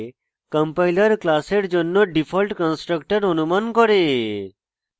compiler class জন্য default constructor অনুমান করে